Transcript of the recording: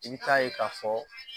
I bi taa ye k'a fɔ